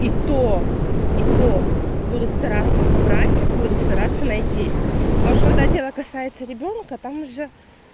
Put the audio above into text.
и то и то будут стараться собрать буду стараться найти а ж когда дело касается ребёнка там же